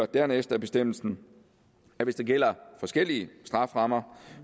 dernæst af bestemmelsen at hvis der gælder forskellige strafferammer